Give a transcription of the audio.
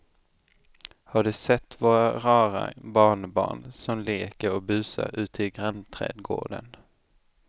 Har du sett våra rara barnbarn som leker och busar ute i grannträdgården!